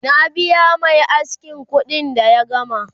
na biya Mai askin kuɗi da ya gama